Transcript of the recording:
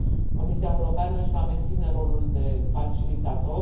Comisia Europeană își va menține rolul de facilitator.